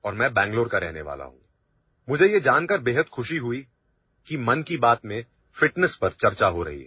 audio